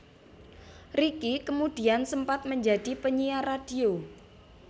Ricky kemudian sempat menjadi penyiar radio